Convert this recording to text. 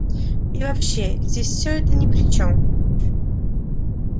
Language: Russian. и вообще здесь все это ни при чем